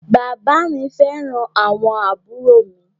Bàbá à mi fẹ́ràn àwọn àbúrò mi.